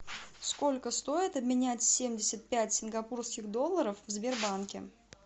сколько стоит обменять семьдесят пять сингапурских долларов в сбербанке